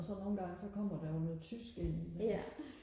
og så nogle gange så kommer der jo noget tysk ind i mellem